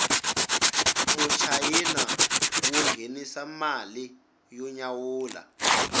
muchayina wu nghenisa mali yo nyawula